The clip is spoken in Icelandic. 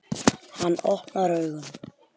Hann opnar augun.